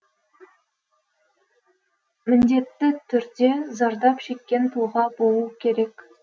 міндетті түрде зардап шеккен тұлға болу керек